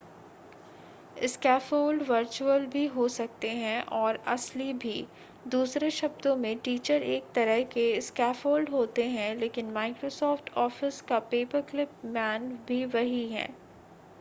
scaffold virtual भी हो सकते हैं और असली भी दूसरे शब्दों में टीचर एक तरह के स्कैफ़ोल्ड होते हैं लेकिन microsoft office का पेपरक्लिप मैन भी वही है